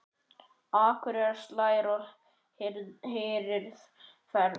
Akurinn slær og hirðir féð.